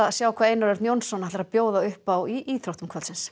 sjá hvað Einar Örn Jónsson ætlar að bjóða upp á í íþróttum kvöldsins